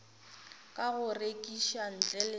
ka go rekiša ntle le